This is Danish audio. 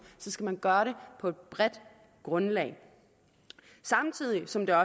skal man gøre det på et bredt grundlag samtidig som der